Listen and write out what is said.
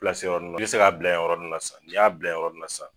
o yɔrɔ nn na. Be se k'a bila ye yɔrɔ nn na sa. N'i y'a bila ye yɔrɔ nn na sa